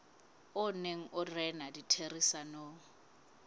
o neng o rena ditherisanong